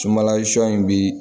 Sunbala shɔ in bi